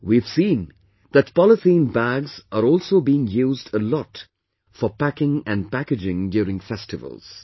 We have seen that polythene bags are also being used a lot for packing and packaging during festivals